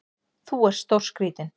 Þú ert stórskrítinn!